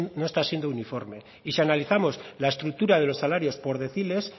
no está siendo uniforme y si analizamos la estructura de los salarios por deciles